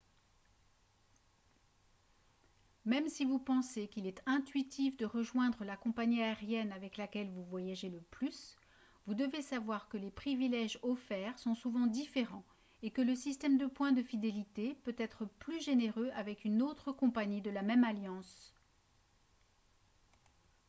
même si vous pensez qu'il est intuitif de rejoindre la compagnie aérienne avec laquelle vous voyagez le plus vous devez savoir que les privilèges offerts sont souvent différents et que le système de points de fidélité peut être plus généreux avec une autre compagnie de la même alliance